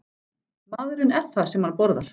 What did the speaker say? Maðurinn er það sem hann borðar.